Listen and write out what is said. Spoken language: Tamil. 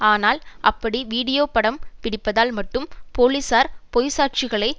ஆனால் அப்படி வீடியோ படம் பிடிப்பதால் மட்டும் போலீசார் பொய் சாட்சிகளை